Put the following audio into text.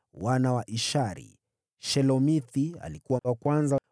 Wana wa Ishari: Shelomithi alikuwa wa kwanza.